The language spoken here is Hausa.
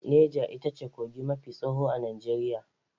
Nega ita ce kogi mafi tsawo a Najeriya.